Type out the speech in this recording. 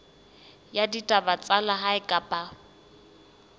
ya ditaba tsa lehae kapa